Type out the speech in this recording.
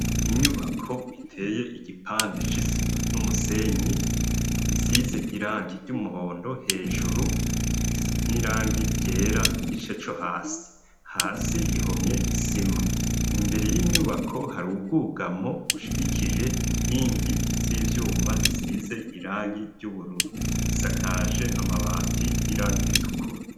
Inyubako iteye igipande c'isima n'umusenyi, isize irangi ry'umuhondo hejuru n'irangi ryera igice co hasi, hasi ihomye isima, imbere y'inyubako hari ubwugamo bushigikije inkingi z'ivyuma zisize irangi ry'ubururu, isakaje amabati y'irangi ritukura.